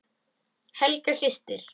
Helga systir.